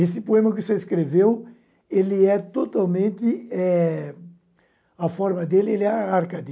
Esse poema que você escreveu, ele é totalmente é... A forma dele é ele é Arcade.